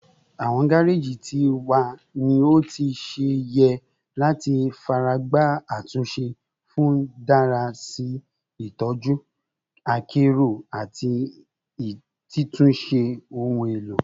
Awọn gareji ti wa ni o ti ṣe yẹ lati faragba atunse fun dara si itọju akero ati titunṣe ohun elo